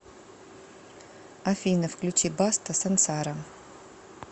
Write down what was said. афина включи баста сансара